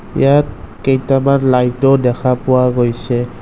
ইয়াত কেইটামান লাইট ও দেখা পোৱা গৈছে।